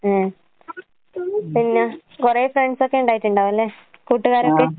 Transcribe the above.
ഏ. പിന്നാ കൊറേ ഫ്രൺസൊക്കെ ഇണ്ടായിട്ടിണ്ടാവല്ലേ, കൂട്ടുകാരൊക്കെ?